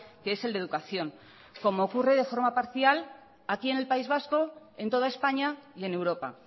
que es el de educación como ocurre de forma parcial aquí en el país vasco en toda españa y en europa